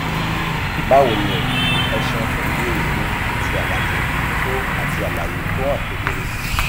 báwo ni o ẹ ṣeun fún ìbéèrè yín àti àlàyé tó àti àlàyé tó hàn kedere